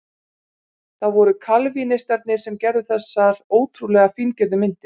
Það voru kalvínistarnir sem gerðu þessar ótrúlega fíngerðu myndir.